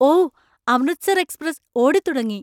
ഓ! Amritsar express ഓടിത്തുടങ്ങി!